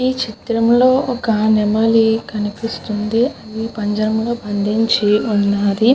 ఈ చిత్రం లో ఒక నెమలి కనిపిస్తుంది ఆది పంజమురలో బందించి వున్నది.